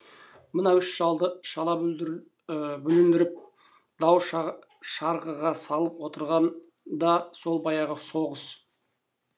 мына үш шалды шала бүліндіріп дау шарғыға салып отырған да сол баяғы соғыс